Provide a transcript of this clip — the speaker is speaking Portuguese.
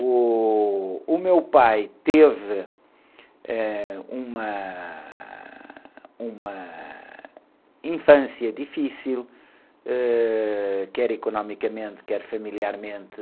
Uh, o meu pai teve, eh, uma, uma, infância difícil, ãh, quer economicamente, quer familiarmente.